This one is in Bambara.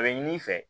A bɛ ɲini i fɛ